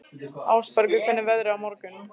Ásbergur, hvernig er veðrið á morgun?